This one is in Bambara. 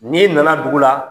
N'i nana dugu la